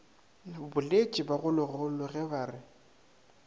boletše bagologolo ge ba re